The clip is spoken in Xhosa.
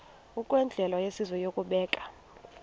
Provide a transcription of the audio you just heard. ngokwendlela yesizwe yokubeka